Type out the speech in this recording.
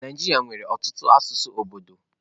Naijiria nwere ọtụtụ asụsụ obodo.